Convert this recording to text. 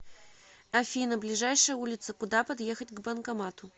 афина ближайшая улица куда подъехать к банкомату